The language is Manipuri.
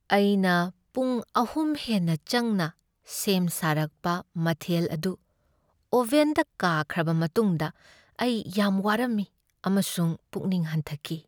ꯑꯩꯅ ꯄꯨꯡ ꯑꯍꯨꯝ ꯍꯦꯟꯅ ꯆꯪꯅ ꯁꯦꯝ ꯁꯥꯔꯛꯄ ꯃꯊꯦꯜ ꯑꯗꯨ ꯑꯣꯚꯦꯟꯗ ꯀꯥꯈ꯭ꯔꯕ ꯃꯇꯨꯡꯗ ꯑꯩ ꯌꯥꯝ ꯋꯥꯔꯝꯃꯤ ꯑꯃꯁꯨꯡ ꯄꯨꯛꯅꯤꯡ ꯍꯟꯊꯈꯤ꯫